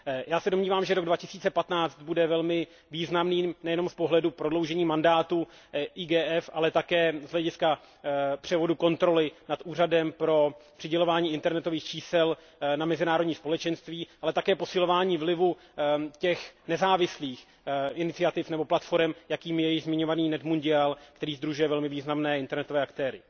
Já se domnívám, že rok 2015 bude velmi významným nejenom z pohledu prodloužení mandátu IGF, ale také z hlediska převodu kontroly nad úřadem pro přidělování internetových čísel na mezinárodní společenství, ale také posilování vlivu těch nezávislých iniciativ nebo platforem, jakými je již zmiňovaný NetMundial, který sdružuje velmi významné internetové aktéry.